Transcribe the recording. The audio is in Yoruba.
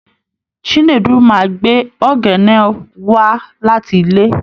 Chinedu máa gbé oghenw wá láti ilé